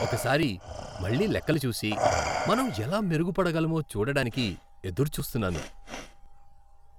ఒకసారి మళ్ళీ లెక్కలు చూసి, మనం ఎలా మెరుగుపడగలమో చూడడానికి ఎదురుచూస్తున్నాను.